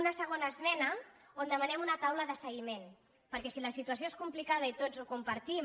una segona esmena on demanem una taula de segui·ment perquè si la situació és complicada i tots ho compartim